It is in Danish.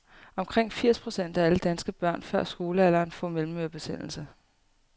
Omkring firs procent af alle danske børn før skolealderen får mellemørebetændelse.